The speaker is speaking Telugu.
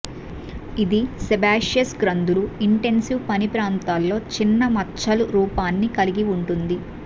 ఇది సేబాషియస్ గ్రంధులు ఇంటెన్సివ్ పని ప్రాంతాల్లో చిన్న మచ్చలు రూపాన్ని కలిగి ఉంటుంది